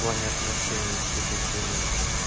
в плане отношений всей этой хуйне